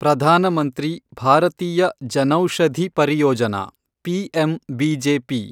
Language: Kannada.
ಪ್ರಧಾನ ಮಂತ್ರಿ ಭಾರತೀಯ ಜನೌಷಧಿ ಪರಿಯೋಜನಾ, ಪಿಎಂಬಿಜೆಪಿ